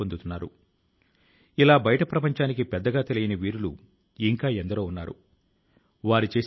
తమిళ నాడు లో ఈ నెల ప్రమాదానికి గురైన హెలికాప్టర్ లో శ్రీ వరుణ్ సింహ్ ప్రయాణిస్తున్నాడు